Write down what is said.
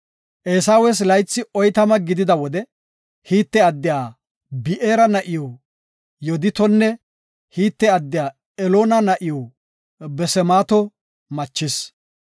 Eesawes laythi oytama gidida wode Hite addiya Bi7eera na7iw Yooditonne Hite addiya Eloona na7iw Basemaato machis.